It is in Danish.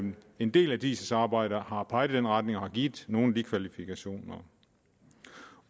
en del af diis arbejde har peget i den retning og har givet nogle af de kvalifikationer